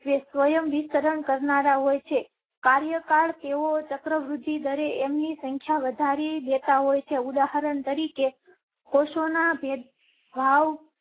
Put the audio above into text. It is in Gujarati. તે સ્વયં વિસ્તરણ કરનારા હોય છે. કાર્યકાળ તેઓ ચક્ર વૃદ્ધિ દરે એમ ની સંખ્યા વધારી દેતા હોય છે. ઉદાહરણ તરીકે કોષના. ભેદભાવ